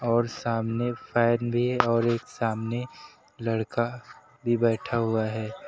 और सामने फैन भी है और एक सामने लड़का भी बैठा हुआ है।